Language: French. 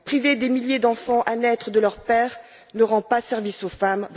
Priver des milliers d'enfants à naître de leur père ne rend pas service aux femmes.